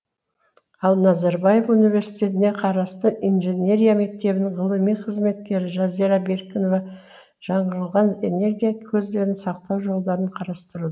ал назарбаев университетіне қарасты инженерия мектебінің ғылыми қызметкері жазира беркінова жаңырылған энергия көздерін сақтау жолдарын қарастыру